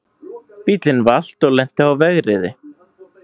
Bíllinn valt og lenti á vegriði